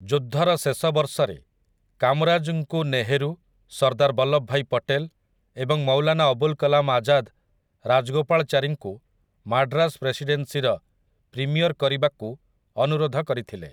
ଯୁଦ୍ଧର ଶେଷ ବର୍ଷରେ, କାମରାଜ୍‌ଙ୍କୁ ନେହେରୁ, ସର୍ଦ୍ଦାର୍ ବଲ୍ଲବଭାଇ ପଟେଲ୍ ଏବଂ ମୌଲାନା ଅବୁଲ୍ କଲାମ୍ ଆଜାଦ୍ ରାଜଗୋପାଳଚାରୀଙ୍କୁ ମାଡ୍ରାସ ପ୍ରେସିଡେନ୍ସିର ପ୍ରିମିୟର୍ କରିବାକୁ ଅନୁରୋଧ କରିଥିଲେ ।